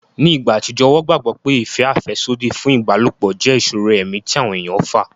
Ni ìgbà àtijọ́, wọ́n gbàgbọ́ pé ìfẹ́ àfẹ́sódì fún ìbálòpọ̀ jẹ́ ìṣòro ẹ̀mí tí àwọn èèyàn fà